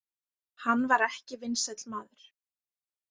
Hann var ekki vinsæll maður.